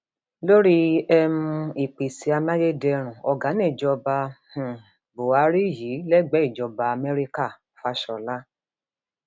lórí um ìpèsè amáyédẹrùn ọgá níjọba um buhari yìí lẹgbẹẹ ìjọba amẹríkàfásiọlá